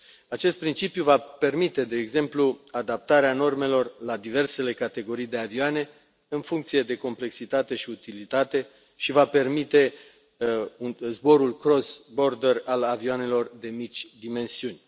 Acest principiu va permite, de exemplu, adaptarea normelor la diversele categorii de avioane în funcție de complexitate și utilitate și va permite zborul cross border al avioanelor de mici dimensiuni.